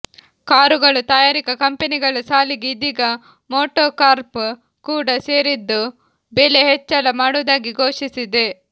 ಕಾರುಗಳು ತಯಾರಿಕಾ ಕಂಪನಿಗಳ ಸಾಲಿಗೆ ಇದೀಗ ಮೋಟೊಕಾರ್ಪ್ ಕೂಡ ಸೇರಿದ್ದು ಬೆಲೆ ಹೆಚ್ಚಳ ಮಾಡುವುದಾಗಿ ಘೋಷಿಸಿದೆ